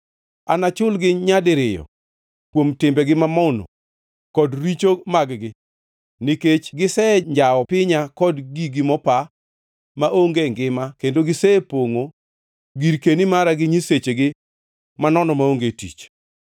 Anachulgi nyadiriyo kuom timbegi mamono kod richo mag-gi, nikech gisenjawo pinya kod gigi mopa maonge ngima kendo gisepongʼo girkeni mara gi nyisechegi manono maonge tich.”